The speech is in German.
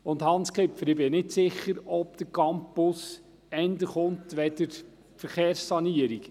Und, Hans Kipfer, ich bin nicht sicher, ob der Campus eher kommt als die Verkehrssanierung.